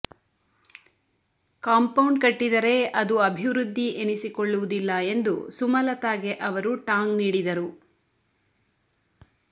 compound ಕಟ್ಟಿದರೆ ಅದು ಅಭಿವೃದ್ಧಿ ಎನಿಸಿಕೊಳ್ಳುವುದಿಲ್ಲ ಎಂದು ಸುಮಲತಾಗೆ ಅವರು ಟಾಂಗ್ ನೀಡಿದರು